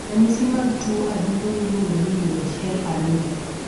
ranyisi mag tuo adundo miluongo ni Uhl anomali?